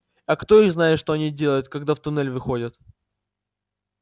а кто их знает что они делают когда в туннель выходят